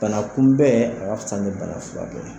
Banakunbɛn a ka fisa ni banafurakɛ ye.